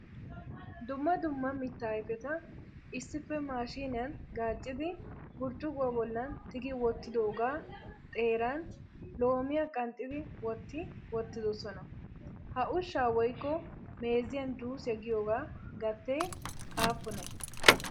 Dumma dumma mitta ayfeta issippe maashiniyaan gaaccidi burccukuwa bollan tigi wotidooga xeeran loomiya qanxxidi wotti wottidoosoma. Ha ushsha woykko meeziyan Juusiya giyooga gatee aappune?